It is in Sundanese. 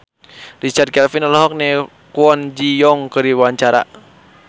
Richard Kevin olohok ningali Kwon Ji Yong keur diwawancara